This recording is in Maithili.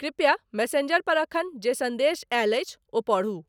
कृपया मेस्सेंजर पर एखन जे सन्देश ऐल अछि ओ परहु